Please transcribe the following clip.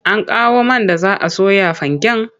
An kawo man da za a soya fanken?